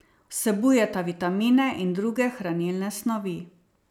Vsebujeta vitamine in druge hranilne snovi.